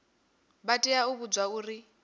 vha tea u vhudzwa uri